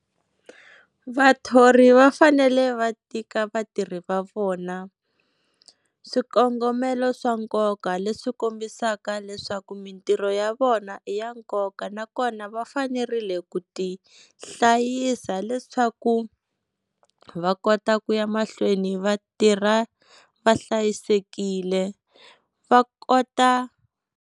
Vathori va fanele va tika vatirhi va vona swikongomelo swa nkoka leswi kombisaka leswaku mintirho ya vona i ya nkoka, nakona va fanerile ku ti hlayisa, leswaku va kota ku ya mahlweni va tirha va hlayisekile va kota.